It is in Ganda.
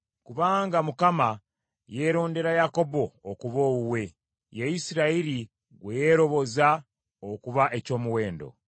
Kubanga Mukama yeerondera Yakobo okuba owuwe; ye Isirayiri gwe yeeroboza okuba eky’omuwendo.